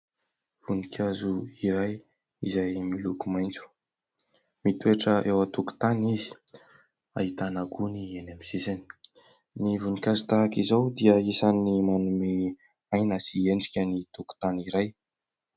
Voninkazo iray izay miloko maitso mitoetra eo an-tokotany izy, ahitana gony eny amin'ny sisiny. Ny voninkazo tahaka izao dia isany manome aina sy endrika ny tokotany iray.